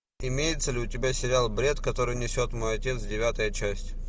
имеется ли у тебя сериал бред который несет мой отец девятая часть